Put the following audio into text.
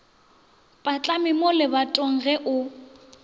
patlame mo lebatong ge o